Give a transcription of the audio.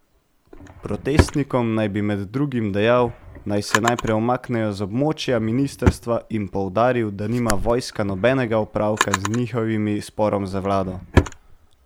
Protestnikom naj bi med drugim dejal, naj se najprej umaknejo z območja ministrstva, in poudaril, da nima vojska nobenega opravka z njihovim sporom z vlado.